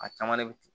A caman de bɛ ci